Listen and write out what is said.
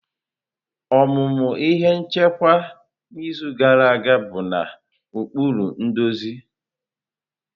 Ọmụmụ ihe nchịkwa n'izu gara aga bụ na ụkpụrụ nduzi.